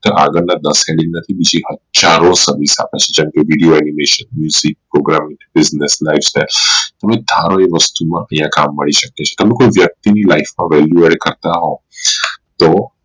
આગળ ના જેમ કે video Animation program business life style તમે ધારો એ વસ્તુ માં તમને કામ મળી શકે છે તમે કોઈ વ્યક્તિ ની life માં value કરતા હો તો